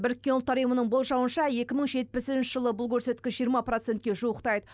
біріккен ұлттар ұйымының болжауынша екі мың жетпісінші жылы бұл көрсеткіш жиырма процентке жуықтайды